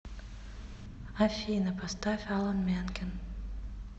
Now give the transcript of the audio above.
афина поставь алан менкен